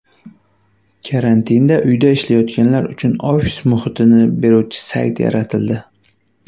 Karantinda uyda ishlayotganlar uchun ofis muhitini beruvchi sayt yaratildi.